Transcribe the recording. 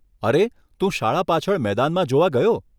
અરે, તું શાળા પાછળ મેદાનમાં જોવા ગયો?